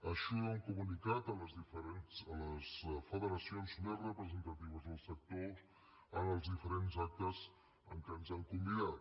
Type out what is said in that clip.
així ho hem comunicat a les federacions més representatives del sector en els diferents actes a què ens han convidat